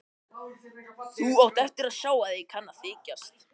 Þú átt eftir að sjá að ég kann að þykjast.